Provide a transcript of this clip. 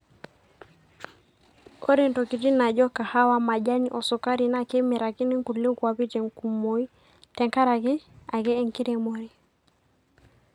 ore ntokitin naajo kahawa ,majani o sukari naa kemirakini nkulie kuapi te nkumoi te nkaraki ake enkiremore